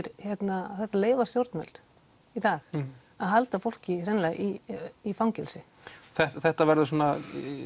þetta leyfa stjórnvöld í dag að halda fólki hreinlega í í fangelsi þetta verður svona